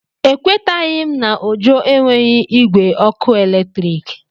Ekwetaghị m na Ojo enweghị igwe ọkụ eletrik.